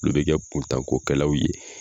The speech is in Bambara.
Olu bɛ kɛ kuntanko kɛlaw ye.